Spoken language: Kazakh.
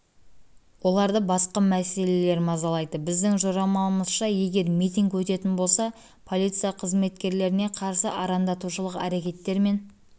басқа мәселелер мазалайды біздің жорамалымызша егер митинг өтетін болса полиция қызмкеткерлеріне қарсы арандатушылық әрекеттер мен